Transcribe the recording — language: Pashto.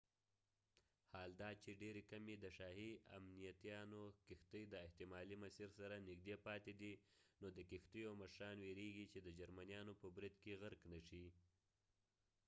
حال دا چې ډیرې کمې د شاهي امنیتیانو کښتۍ د احتمالي مسیر سره نږدې پاتې دي نو د کښتیو مشران ویرېږي چې د جرمنيانو په برید کې غرق نشي